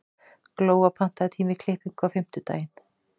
Glóa, pantaðu tíma í klippingu á fimmtudaginn.